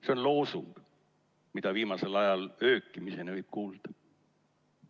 See on loosung, mida viimasel ajal öökimiseni võib kuulda.